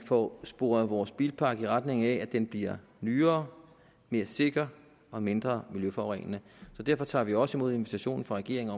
får sporet vores bilpark i retning af at den bliver nyere mere sikker og mindre miljøforurenende derfor tager vi også imod invitationen fra regeringen